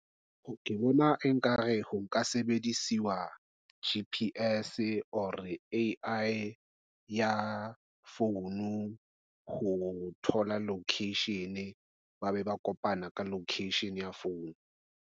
ke bona e nkare ho nka sebedisiwa G_P_S or A_I ya founu ho thola location, ba be ba kopana ka location ya phone.